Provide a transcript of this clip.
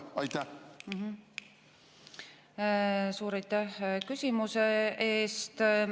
Suur aitäh küsimuse eest!